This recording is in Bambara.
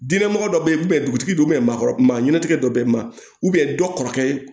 Diinɛ mɔgɔ dɔ bɛ yen dugutigi bɛ yen maakɔrɔba ɲɛntigɛ dɔ bɛ maa dɔ kɔrɔ